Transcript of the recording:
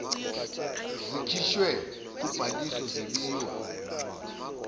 zikhishiwe kubhaliso zebiwa